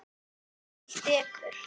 Þvílíkt dekur.